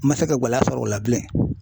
N ma se ka gɛlɛya sɔrɔ o la bilen.